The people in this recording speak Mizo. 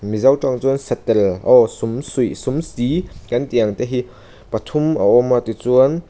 mizo tawng chuan satel aw sumsuih sumsi kan ti ang te hi pathum a awm a tichuan--